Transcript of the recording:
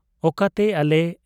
ᱚᱠᱟᱛᱮᱜ ᱟ ᱞᱮ ?